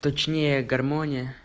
точнее гармония